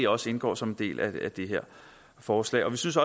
også indgår som en del af det her forslag vi synes